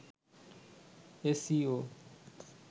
S E O